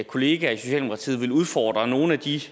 kollega i socialdemokratiet vil udfordre nogle af de